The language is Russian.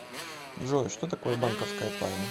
джой что такое банковская тайна